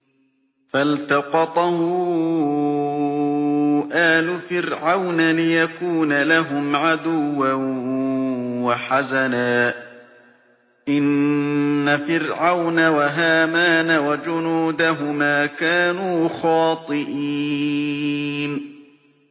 فَالْتَقَطَهُ آلُ فِرْعَوْنَ لِيَكُونَ لَهُمْ عَدُوًّا وَحَزَنًا ۗ إِنَّ فِرْعَوْنَ وَهَامَانَ وَجُنُودَهُمَا كَانُوا خَاطِئِينَ